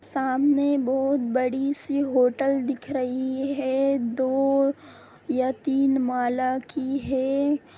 सामने बहुत बड़ी सी होटल दिख रही है दो या तीन माला की है।